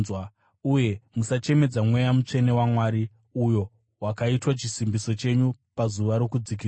Uye musachemedza Mweya Mutsvene waMwari, uyo wakaitwa chisimbiso chenyu pazuva rokudzikinurwa.